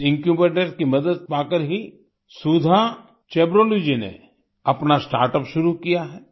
इस इन्क्यूबेटर की मदद पाकर ही सुधा चेब्रोलू जी ने अपना स्टार्टअप शुरू किया है